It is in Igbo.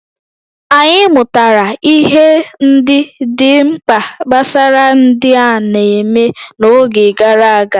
Anyị mụtara ihe ndị dị mkpa gbasara ndị a na-eme n'oge gara aga.